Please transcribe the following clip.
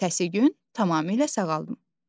Ertəsi gün tamamilə sağaldım.